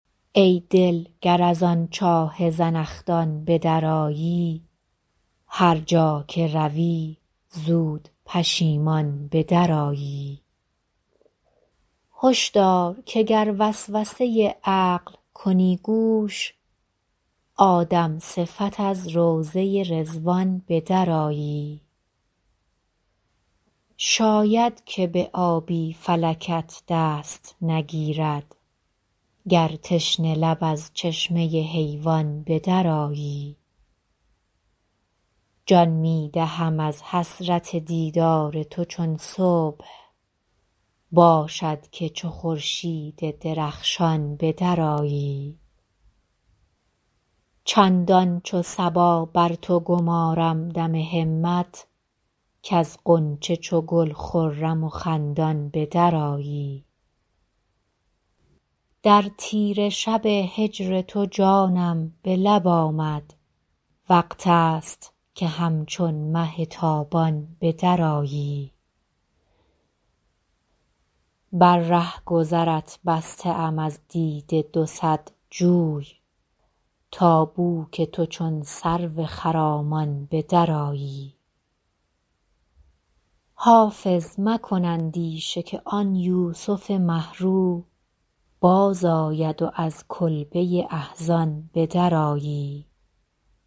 ای دل گر از آن چاه زنخدان به درآیی هر جا که روی زود پشیمان به درآیی هش دار که گر وسوسه عقل کنی گوش آدم صفت از روضه رضوان به درآیی شاید که به آبی فلکت دست نگیرد گر تشنه لب از چشمه حیوان به درآیی جان می دهم از حسرت دیدار تو چون صبح باشد که چو خورشید درخشان به درآیی چندان چو صبا بر تو گمارم دم همت کز غنچه چو گل خرم و خندان به درآیی در تیره شب هجر تو جانم به لب آمد وقت است که همچون مه تابان به درآیی بر رهگذرت بسته ام از دیده دو صد جوی تا بو که تو چون سرو خرامان به درآیی حافظ مکن اندیشه که آن یوسف مه رو بازآید و از کلبه احزان به درآیی